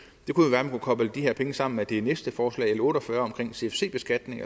man kunne koble de her penge sammen med det næste forslag l otte og fyrre om cfc beskatning